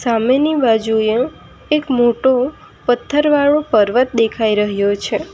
સામેની બાજુએ એક મોટો પથ્થર વાળો પર્વત દેખાઈ રહ્યો છે.